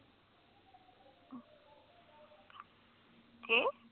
ਕਿ